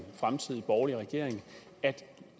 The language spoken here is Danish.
fremtidig borgerlig regering at